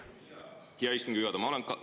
Hea istungi juhataja!